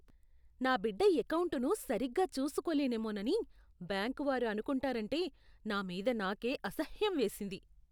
నా బిడ్డ ఎకౌంటును సరిగ్గా చూసుకోలేనేమోనని బ్యాంకు వారు అనుకుంటారంటే నా మీద నాకే అసహ్యం వేసింది.